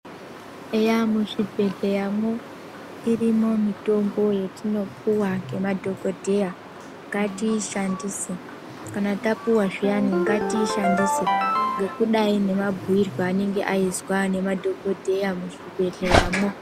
Eya muzvi bhedleya mwo irimo mitombo yetinopiwa ngema dhokodheya. Ngatiishandise, kana tapuwa zviyani ngatiishandise nekudai ngemabhuyirwe anenge aizwa ngema dhogodheya mwuzvi bhedhleya mwo.